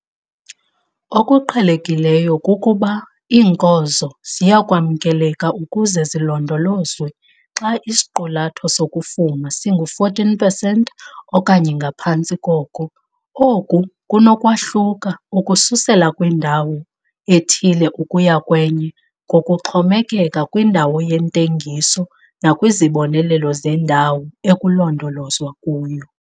Okuqhelekileyo kukuba iinkozo ziyakwamkeleka ukuze zilondolozwe xa isiqulatho sokufuma singu-14 pesenti okanye ngaphantsi koko. Oku kunokwahluka ukususela kwindawo ethile ukuya kwenye ngokuxhomekeka kwindawo yentengiso nakwizibonelelo zendawo ekulondolozwa kuyo.